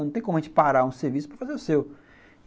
Não tem como a gente parar um serviço para fazer o seu.